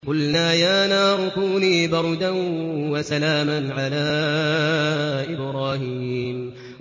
قُلْنَا يَا نَارُ كُونِي بَرْدًا وَسَلَامًا عَلَىٰ إِبْرَاهِيمَ